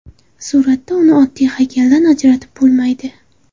Suratda uni oddiy haykaldan ajratib bo‘lmaydi.